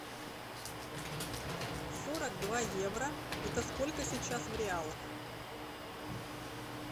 сорок два евро это сколько сейчас в реалах